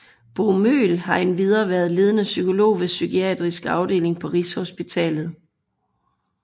Bo Møhl har endvidere været ledende psykolog ved Psykiatrisk Afdeling på Rigshospitalet